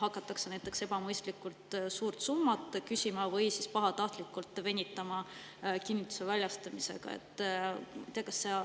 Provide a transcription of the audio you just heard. Hakatakse näiteks ebamõistlikult suurt summat küsima või pahatahtlikult kinnituse väljastamisega venitama.